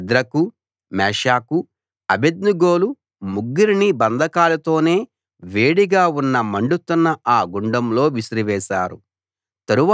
షద్రకు మేషాకు అబేద్నెగోలు ముగ్గురినీ బంధకాలతోనే వేడిగా ఉన్న మండుతున్న ఆ గుండంలో విసిరివేశారు